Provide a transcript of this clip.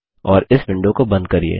और इस विंडो को बंद करिये